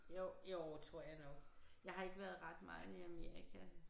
Jo jo tror jeg nok jeg har ikke været ret meget i Amerika